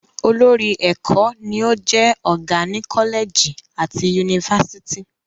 Olórí ẹ̀kọ́ ni o jẹ́ ọgá ni Kọ́lẹ̀gì àti Yunifásítì